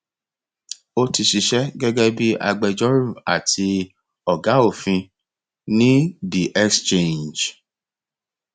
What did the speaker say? ó ti ṣiṣẹ gẹgẹ bí agbẹjọrò àti ọgá òfin ní the exchange